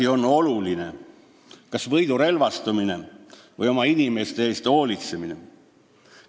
Mis on oluline, kas võidurelvastumine või oma inimeste eest hoolitsemine?